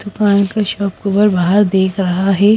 दुकान का शॉपकूबर बाहर देख रहा है।